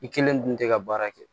I kelen dun tɛ ka baara kɛ